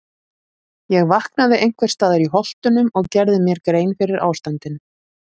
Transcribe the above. Ég vaknaði einhvers staðar í Holtunum og gerði mér grein fyrir ástandinu.